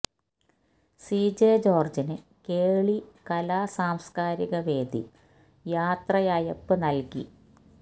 C J ജോര്ജ്ജിന് കേളി കലാ സാംസ്കാരിക വേദി യാത്രയയപ്പ് നല്കി